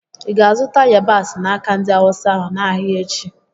Ị ga-azụta yabasị n'aka ndị Awụsa ahụ n'ahịa echi?